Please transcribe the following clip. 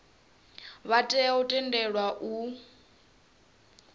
vha tea u tendelwa u